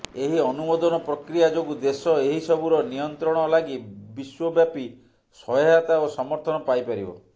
ଏହି ଅନୁମୋଦନ ପ୍ରକ୍ରିୟା ଯୋଗୁଁ ଦେଶ ଏହିସବୁର ନିୟନ୍ତ୍ରଣ ଲାଗି ବିଶ୍ବବ୍ୟାପୀ ସହାୟତା ଓ ସମର୍ଥନ ପାଇପାରିବ